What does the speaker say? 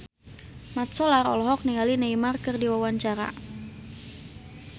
Mat Solar olohok ningali Neymar keur diwawancara